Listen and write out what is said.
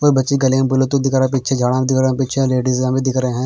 और बच्ची गले में बोले तो दिख रहा हैं पीछे झाडां दिख रहा हैं पीछे लेडीजा भी दिख रहे हैं।